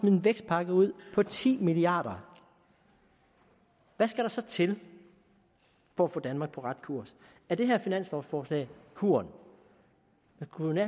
en vækstpakke ud på ti milliard kr hvad skal der så til for at få danmark på rette kurs er det her finanslovforslag kuren man kunne